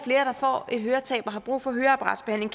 får et høretab og har brug for høreapparatbehandling